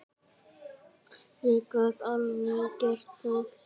Ég get alveg gert það.